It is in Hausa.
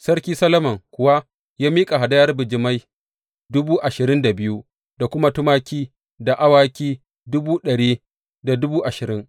Sarki Solomon kuwa ya miƙa hadayar bijimai dubu ashirin da biyu da kuma tumaki da awaki dubu ɗari da dubu ashirin.